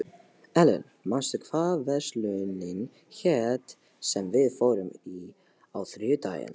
Ellen, manstu hvað verslunin hét sem við fórum í á þriðjudaginn?